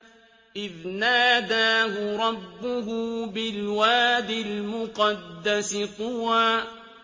إِذْ نَادَاهُ رَبُّهُ بِالْوَادِ الْمُقَدَّسِ طُوًى